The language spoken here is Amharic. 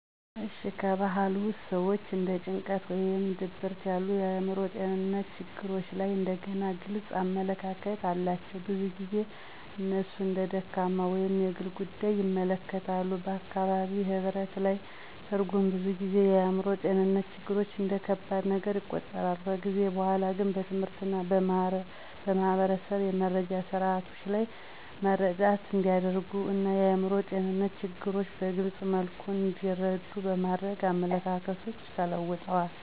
እሺ፣ ከበባህልዬ ውስጥ ሰዎች እንደ ጭንቀት ወይም ድብርት ያሉ የአእምሮ ጤንነት ትግሎች ላይ እንደገና ግልጽ አመለካከት አላቸው። ብዙ ጊዜ እነሱን እንደ ደካማ ወይም የግል ጉዳይ ይመለከታሉ፣ በአካባቢ ህብረት ላይ ትርጉም ብዙ ጊዜ የአእምሮ ጤንነትን ችግሮች እንደ ከባድ ነገር ይቆጠራል። ከጊዜ በኋላ ግን በትምህርት እና በማህበረሰብ የመረጃ ስርዓቶች መረዳት እንዲያደርጉ እና የአእምሮ ጤንነት ትግሎችን በግልፅ መልኩ እንዲረዱ በማድረግ አመለካከቶች ተለውጠዋል።